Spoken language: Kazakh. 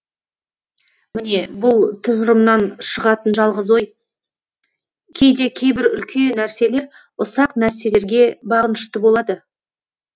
міне бұл тұжырымнан шығатын жалғыз ой кейде кейбір үлкен нәрселер ұсақ нәрселерге бағынышты болады